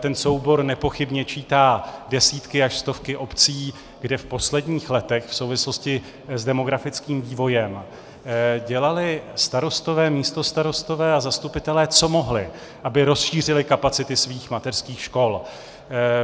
Ten soubor nepochybně čítá desítky až stovky obcí, kde v posledních letech v souvislosti s demografickým vývojem dělali starostové, místostarostové a zastupitelé, co mohli, aby rozšířili kapacity svých mateřských škol.